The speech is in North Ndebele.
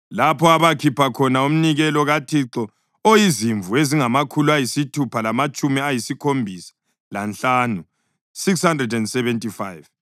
lapho abakhipha khona umnikelo kaThixo oyizimvu ezingamakhulu ayisithupha lamatshumi ayisikhombisa lanhlanu (675);